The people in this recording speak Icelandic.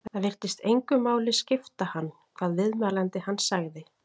Það virtist engu máli skipta hann hvað viðmælandi hans segði.